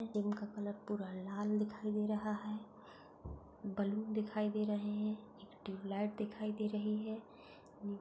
Gym का colour पूरा लाल दिखाई दे रहा है। बलून दिखाई दे रहे है। एक ट्यूबलाइट दिखाई दे रही है।